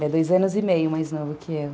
Ele é dois anos e meio mais novo que eu.